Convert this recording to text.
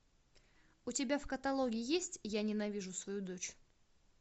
у тебя в каталоге есть я ненавижу свою дочь